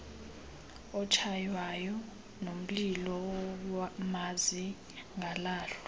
otshaywayo nomlilo mazingalahlwa